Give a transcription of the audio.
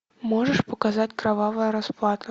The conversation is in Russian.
можешь показать кровавая расплата